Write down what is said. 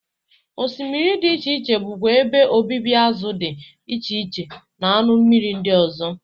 Osmiri dị iche iche bụkwa ebe obibi azụ dị iche iche na anụ mmiri ndị ọzọ.